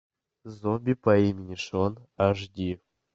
зомби по имени шон аш ди